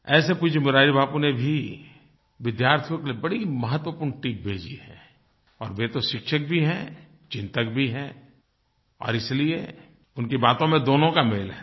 ऐसे पूज्य मुरारी बापू ने भी विद्यार्थियों के लिए बड़ी महत्वपूर्ण टिप भेजी है और वे तो शिक्षक भी हैं चिन्तक भी हैं और इसलिए उनकी बातों में दोनों का मेल है